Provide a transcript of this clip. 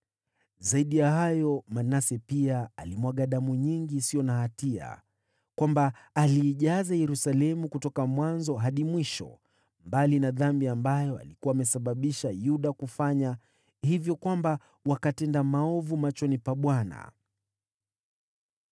Zaidi ya hayo, Manase pia alimwaga damu nyingi isiyo na hatia, hivi kwamba aliijaza Yerusalemu kutoka mwanzo hadi mwisho, mbali na dhambi ambayo alikuwa amesababisha Yuda kufanya, na hivyo wakatenda maovu machoni pa Bwana .